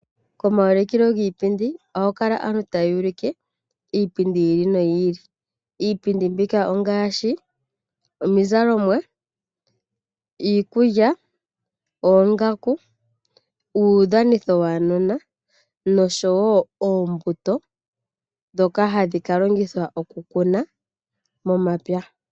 Komaulikilo giipindi oha ku kala aantu taya ulike iipindi yi ili noyi ili. Iipindi mbika ongaashi: omizalomwa , iikulya , oongaku , uudhanitho waanona noshowoo oombuto dhoka hadhi ka longithwa oku kuna momapya.